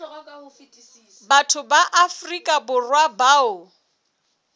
batho ba afrika borwa bao